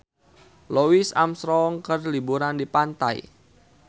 Louis Armstrong keur liburan di pantai